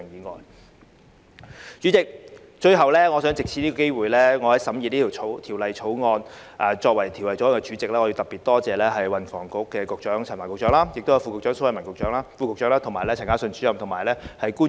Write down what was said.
代理主席，最後，作為審議《條例草案》的法案委員會主席，我想藉此機會特別多謝運房局陳帆局長及蘇偉文副局長、陳嘉信主任及其他官員。